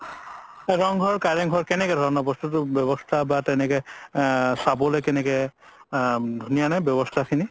ৰংঘৰ কাৰেংঘৰ কেনেধৰণৰ বস্তুতো ব্যবস্থা বা তেনেকে আ চাবলে কেনেকে আ ধুনীয়া নে ব্যবস্থা খিনি